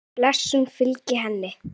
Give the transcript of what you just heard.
Guðs blessun fylgi henni.